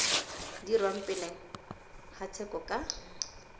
dirwang pele ga tsheko ka